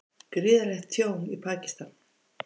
Gríðarlegt tjón í Pakistan